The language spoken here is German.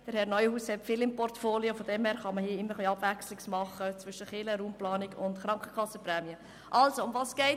Herr Neuhaus hat viel in seinem Portfolio, daher kann man hier immer zwischen Kirche, Raumplanung und Krankenkassenprämien abwechseln.